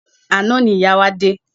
Àná ni ìyá wa dé.